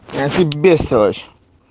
а ты бестолочь